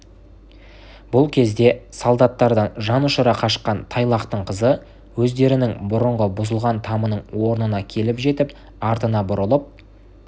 бұл кезде солдаттардан жанұшыра қашқан тайлақтың қызы өздерінің бұрынғы бұзылған тамының орнына келіп жетіп артына бұрылып